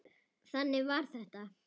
Þannig var þetta.